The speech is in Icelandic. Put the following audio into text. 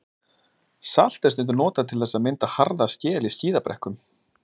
Salt er stundum notað til þess að mynda harða skel í skíðabrekkum.